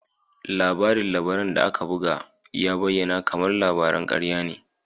Labarin labaran da aka buga ya bayyana kamar labaran karya ne.